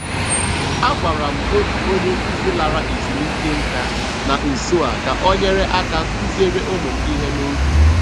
Agwara m otu onye nkuzi lara ezumike nka na nso a ka ọ nyere aka kụziere ụmụ m ihe n'oge.